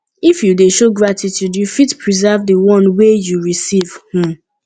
if you de show gratitude you fit preserve di one wey you receive um